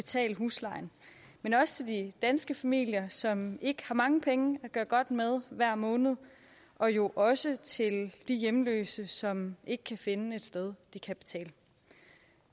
betale huslejen men også til de danske familier som ikke har mange penge at gøre godt med hver måned og jo også til de hjemløse som ikke kan finde et sted de kan betale